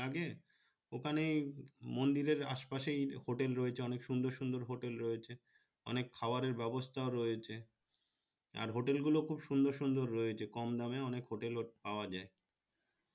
ওখানে মন্দিরে আশে পাশে hotel রয়েছে অনেক সুন্দর সুন্দর hotel রয়েছে অনেক খাবারের ব্যবস্থা ও রয়েছে আর hotel গুলো খুব সুন্দর সুন্দর রয়েছে কম দানে অনেক hotel পাওয়া যায়